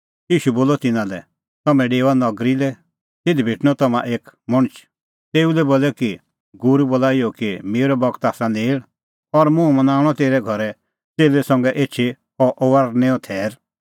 ईशू बोलअ तिन्नां लै तम्हैं डेओआ नगरी लै तिधी भेटणअ तम्हां एक मणछ तेऊ लै बोलै कि गूरू बोला इहअ कि मेरअ बगत आसा नेल़ और मुंह मनाऊंणअ तेरै घरै च़ेल्लै संघै एछी अह फसहेओ थैर